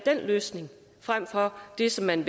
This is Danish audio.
løsning frem for det som man